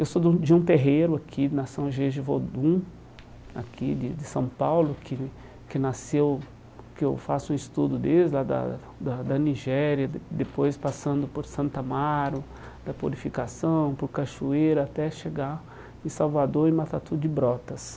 Eu sou do de um terreiro aqui na São Jeje Vodun, aqui de de São Paulo, que que nasceu, que eu faço estudo desde lá da da da Nigéria, de depois passando por Santo amaro, da Purificação, por Cachoeira, até chegar em Salvador e Matatu de Brotas.